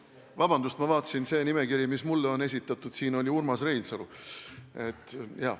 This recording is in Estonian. Vabandust, ma vaatasin, et see nimekiri, mis mulle on esitatud, siin on ju Urmas Reinsalu.